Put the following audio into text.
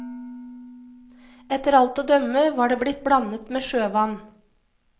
Etter alt å dømme var det blitt blandet med sjøvann.